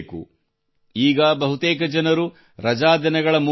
ಈಗ ಬಹುತೇಕ ಜನರು ರಜಾದಿನಗಳ ಮೂಡ್ ನಲ್ಲಿದ್ದಾರೆ